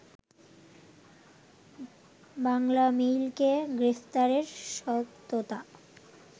বাংলামেইলকে গ্রেপ্তারের সত্যতা